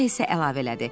Sonra isə əlavə elədi: